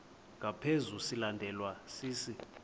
ngaphezu silandelwa sisi